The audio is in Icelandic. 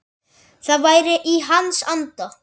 Það væri í hans anda.